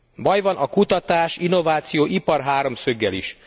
Baj van a kutatás innováció ipar háromszöggel is.